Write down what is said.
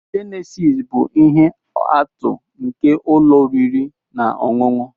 Jenesis bụ ihe atụ nke ụlọ oriri na ọṅụṅụ.